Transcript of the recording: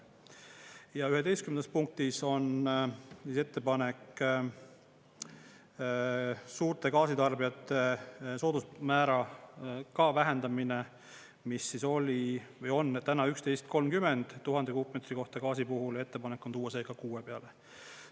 Ja 11. punktis on ettepanek suurte gaasitarbijate soodusmäära vähendamine, mis on täna 11.30 tuhande kuupmeetri kohta gaasi puhul ja ettepanek on tuua see ka 6 peale.